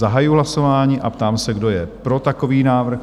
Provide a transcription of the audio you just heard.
Zahajuji hlasování a ptám se, kdo je pro takový návrh?